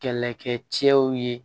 Kɛlɛkɛcɛw ye